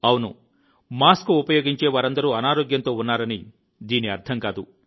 అవును మాస్క్ ఉపయోగించే వారందరూ అనారోగ్యంతో ఉన్నారని దీని అర్థం కాదు